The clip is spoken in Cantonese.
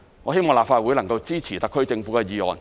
我希望立法會能夠支持特區政府的議案。